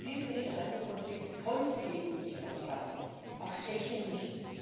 Diesen Interessenkonflikt konnte die EU nicht aushalten auch Tschechien nicht.